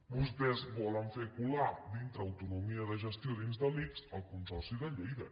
vostès volen fer colar dintre autonomia de gestió dins de l’ics el consorci de lleida